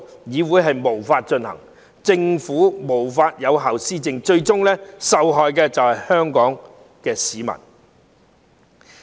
議會無法運作，政府無法有效施政，最終受害的就是香港市民。